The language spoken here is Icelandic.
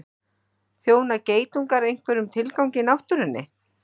Þjóna geitungar einhverjum tilgangi í náttúrunni?